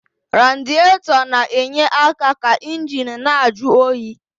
Radietọ na-enye aka ka injini na-ajụ oyi.